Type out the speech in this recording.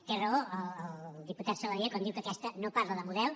té raó el diputat saladié quan diu que aquesta no parla de model